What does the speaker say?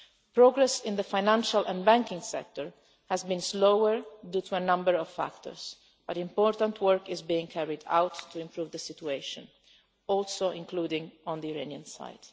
Progress in the financial and banking sector has been slower due to a number of factors, but important work is being carried out to improve the situation, also including on the Iranian side.